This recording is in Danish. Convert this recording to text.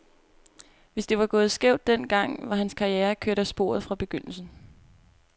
Hvis det var gået skævt den gang, var hans karriere kørt af sporet fra begyndelsen.